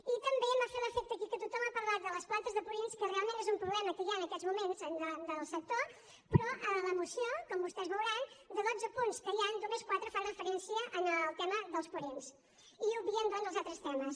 i també m’ha fet l’efecte aquí que tothom ha parlat de les plantes de purins que realment és un problema que hi ha en aquests moments en el sector però a la moció com vostès veuran de dotze punts que hi han només quatre fan referència al tema dels purins i obvien doncs els altres temes